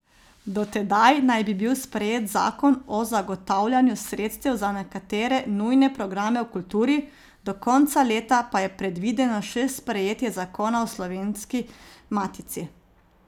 Do tedaj naj bi bil sprejet zakon o zagotavljanju sredstev za nekatere nujne programe v kulturi, do konca leta pa je predvideno še sprejetje zakona o Slovenski matici.